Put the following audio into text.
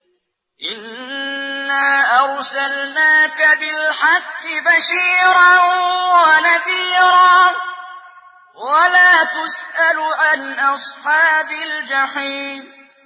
إِنَّا أَرْسَلْنَاكَ بِالْحَقِّ بَشِيرًا وَنَذِيرًا ۖ وَلَا تُسْأَلُ عَنْ أَصْحَابِ الْجَحِيمِ